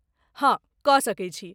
हँ, कऽ सकैत छी।